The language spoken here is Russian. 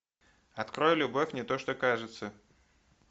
открой любовь не то что кажется